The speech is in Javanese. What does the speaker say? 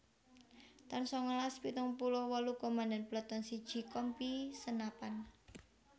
taun sangalas pitung puluh wolu Komandan Peleton siji Kompi Senapan